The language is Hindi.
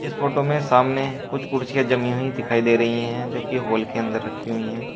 इस फोटो में सामने कुछ कुर्सियां जमी हुई दिखाई दे रही हैं जो की हॉल के अंदर रखी हुई है।